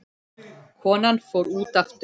Konan fór út aftur.